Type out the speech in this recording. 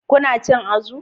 Kuna cin azu?